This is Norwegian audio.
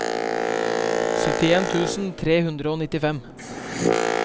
syttien tusen tre hundre og nittifem